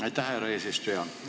Aitäh, härra eesistuja!